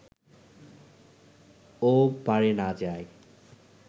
ও-পারে না যায়